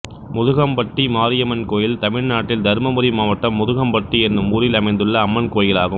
முதுக்கம்பட்டி மாரியம்மன் கோயில் தமிழ்நாட்டில் தர்மபுரி மாவட்டம் முதுக்கம்பட்டி என்னும் ஊரில் அமைந்துள்ள அம்மன் கோயிலாகும்